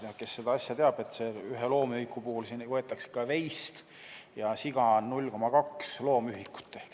Ja kes seda asja teab, siis ühe loomühiku puhul võetakse veis, ja siga on 0,2 loomühikut.